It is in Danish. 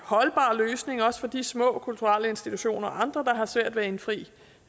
holdbar løsning også for de små kulturelle institutioner og andre der har svært ved at indfri